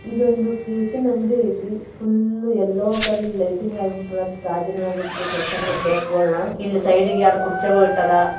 ಇದು ಒಂದು ಕೇಕಿನ್ ಅಂಗಡಿ ಐತಿ ಪುಲ್ ಎಲ್ಲೊ ಕಲರ್ ಲೈಟಿಂಗ್ ಕೇಕಗೋಳ್ನ ಇಲ್ಲಿ ಸೈಡಿಗ್ ಎರಡು ಕೂರಚಿಗೋಲ್ ಇಟ್ಟರ್.